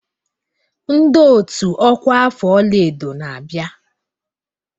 Ndị ọ́tù ọkwa afọ ọlaedo na-abịa.